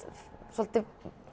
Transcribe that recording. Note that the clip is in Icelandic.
svolítið